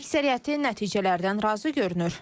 Əksəriyyəti nəticələrdən razı görünür.